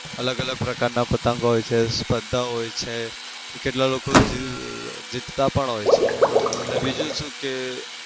અલગ-અલગ પ્રકારના પતંગ હોય છે, સ્પર્ધા હોય છે. કેટલાક લોકો જી જીતતા પણ હોય છે. ને બીજું શું કે